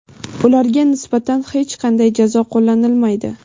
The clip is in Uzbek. ularga nisbatan hech qanday jazo qo‘llanilmaydi.